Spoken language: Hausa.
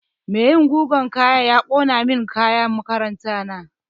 Mai yi min gugan kaya ya ƙona min kayan makaranta na